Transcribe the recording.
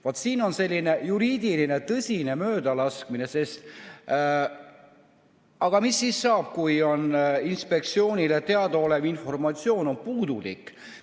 Vaat see on selline tõsine juriidiline möödalaskmine, sest mis saab siis, kui inspektsioonile teadaolev informatsioon on puudulik.